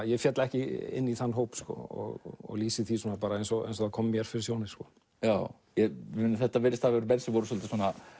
ég féll ekki inn í þann hóp og lýsi því eins og það kom mér fyrir sjónir þetta virðast hafa verið menn svo voru svolítið